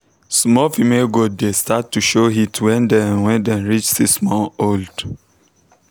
small female goat dey start to show heat when dem when dem reach six months old.